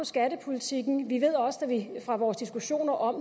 skattepolitikken vi ved også fra vores diskussioner om